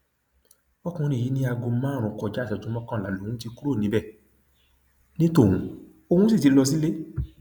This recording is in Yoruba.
ọkùnrin yìí ní aago márùnún kọjá ìṣẹjú mẹrìnlá lòún ti kúrò níbẹ ní tóun òun sì ti lọ sílé